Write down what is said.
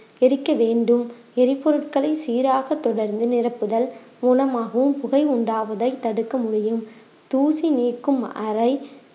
எரிக்க வேண்டும் எரிபொருட்களை சீராக தொடர்ந்து நிரப்புதல் மூலமாகவும் புகை உண்டாவதை தடுக்க முடியும் தூசி நீக்கும் அறை